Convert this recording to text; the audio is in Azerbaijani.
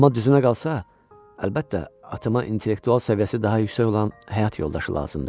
Amma düzünə qalsa, əlbəttə, atama intellektual səviyyəsi daha yüksək olan həyat yoldaşı lazımdır.